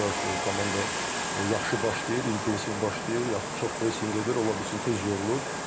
Bir az komanda yaxşı başlayır, intensiv başlayır, çox pressinq edir, ola bilsin tez yorulur.